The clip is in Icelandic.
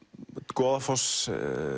Goðafossi